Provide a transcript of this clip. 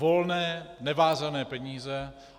Volné, nevázané peníze.